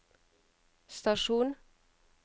stasjon